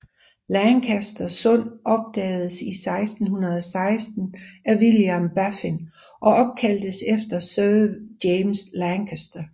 Lancaster Sund opdagedes 1616 af William Baffin og opkaldtes efter Sir James Lancaster